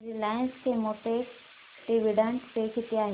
Reliance Chemotex dividend pay किती आहे